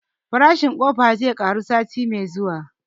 Farashin ƙofa zai ƙaru sati mai zuwa